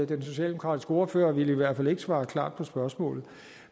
den socialdemokratiske ordfører ville i hvert fald ikke svare klart på spørgsmålet